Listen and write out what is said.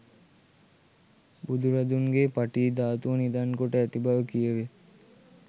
බුදුරදුන්ගේ පටී ධාතුව නිධන් කොට ඇති බව කියැවේ.